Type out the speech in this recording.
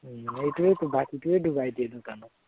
হম সেইটোৱেটো বাকীটোৱেই ডুবাই দিয়ে দোকানক।